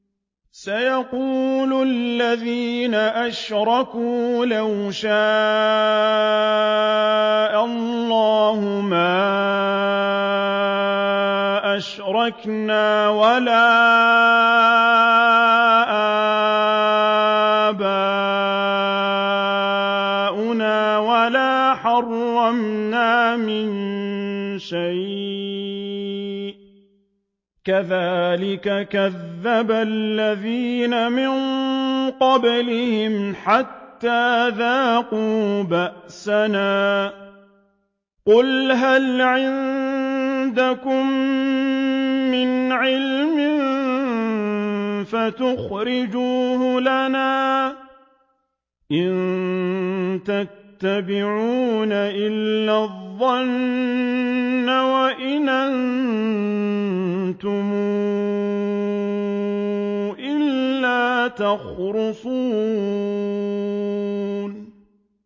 سَيَقُولُ الَّذِينَ أَشْرَكُوا لَوْ شَاءَ اللَّهُ مَا أَشْرَكْنَا وَلَا آبَاؤُنَا وَلَا حَرَّمْنَا مِن شَيْءٍ ۚ كَذَٰلِكَ كَذَّبَ الَّذِينَ مِن قَبْلِهِمْ حَتَّىٰ ذَاقُوا بَأْسَنَا ۗ قُلْ هَلْ عِندَكُم مِّنْ عِلْمٍ فَتُخْرِجُوهُ لَنَا ۖ إِن تَتَّبِعُونَ إِلَّا الظَّنَّ وَإِنْ أَنتُمْ إِلَّا تَخْرُصُونَ